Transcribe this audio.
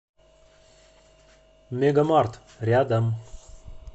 мегамарт рядом